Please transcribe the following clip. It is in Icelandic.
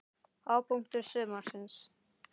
Hápunktur sumarsins?